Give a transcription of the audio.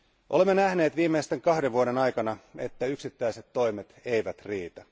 Olemme nähneet viimeisten kahden vuoden aikana, että yksittäiset toimet eivät riitä.